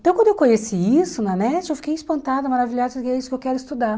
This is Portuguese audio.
Então, quando eu conheci isso na NET, eu fiquei espantada, maravilhada, e disse que é isso que eu quero estudar.